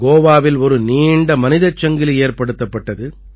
கோவாவில் ஒரு நீண்ட மனிதச் சங்கிலி ஏற்படுத்தப்பட்டது